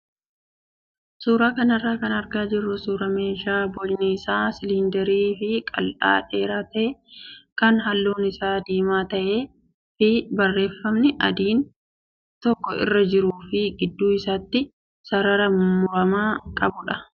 Suuraa kanarraa kan argaa jirru suuraa meeshaa bocni isaa siliindarii fi qal'aa dheeraa ta'ee kan halluun isaa diimaa ta'ee fi barreeffamni adiin tokko irra jiruu fi gidduu isaatti sarara muramaa qabudha.